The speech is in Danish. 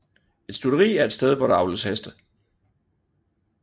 Et stutteri er et sted hvor der avles heste